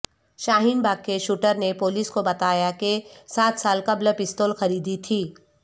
شاہین باغ کے شوٹر نے پولیس کو بتایا کہ سات سال قبل پستول خریدی تھی